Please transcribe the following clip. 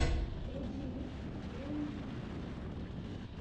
включи микс лейни тиви